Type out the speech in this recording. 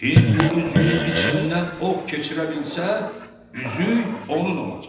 kim bu üzüyün içindən ox keçirə bilsə, üzük onun olacaq.